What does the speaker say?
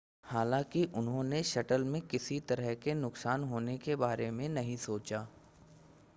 हालांकि उन्होंने शटल में किसी तरह के नुकसान होने के बारे में नहीं सोचा